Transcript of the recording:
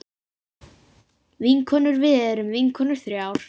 Vinkonur við erum vinkonur þrjár.